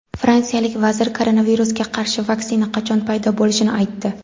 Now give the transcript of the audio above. Fransiyalik vazir koronavirusga qarshi vaksina qachon paydo bo‘lishini aytdi.